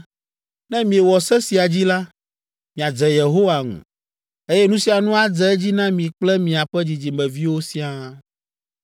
Ne miewɔ se sia dzi la, miadze Yehowa ŋu, eye nu sia nu adze edzi na mi kple miaƒe dzidzimeviwo siaa.